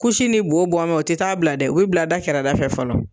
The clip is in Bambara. Kusi ni bo bɔnbɛ o te taa bila dɛ, o be bila da kɛrɛda fɛ fɔlɔ.